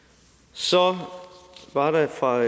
så var der fra